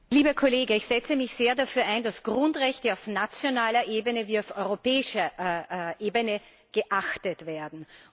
Lieber Kollege, ich setze mich sehr dafür ein, dass Grundrechte auf nationaler Ebene wie auf europäischer Ebene geachtet werden.